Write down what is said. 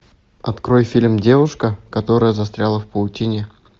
открой фильм девушка которая застряла в паутине